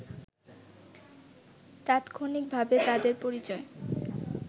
তাৎক্ষণিকভাবে তাদের পরিচয়